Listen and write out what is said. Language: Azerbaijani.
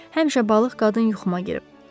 Həmişə balıq qadın yuxuma girib.